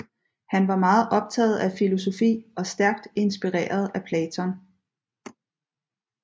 Han var meget optaget af filosofi og stærkt inspireret af Platon